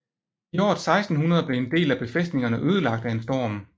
I året 1600 blev en del af befæstningerne ødelagt af en storm